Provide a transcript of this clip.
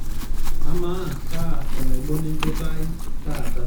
amaa kaa enaibon enchoto ai taata